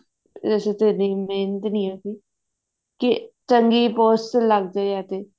ਇਸ ਚ ਇੰਨੀ ਮਿਹਨਤ ਨਹੀਂ ਹੈ ਕੋਈ ਕੇ ਚੰਗੀ post ਲੱਗ ਜਾਵੇ ਜੇ